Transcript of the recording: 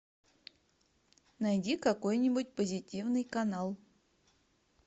найди какой нибудь позитивный канал